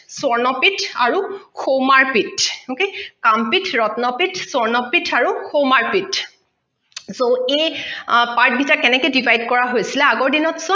স্বৰ্ণ পিঠ আৰু সুমাৰ পিঠ okay কাম পিঠ ৰত্ন পিঠ স্বৰ্ণ পিঠ আৰু সুমাৰ পিঠ so এই part কেনেকে divide হৈছিলে আগৰ দিনত